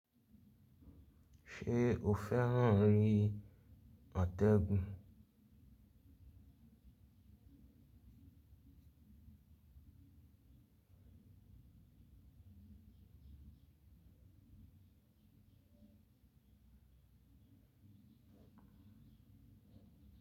Ṣé o fẹ́ràn rí atẹ́gùn?